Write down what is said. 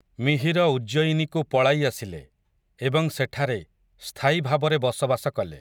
ମିହିର ଉଜ୍ଜୟିନୀକୁ ପଳାଇ ଆସିଲେ, ଏବଂ ସେଠାରେ, ସ୍ଥାୟୀଭାବରେ ବସବାସ କଲେ ।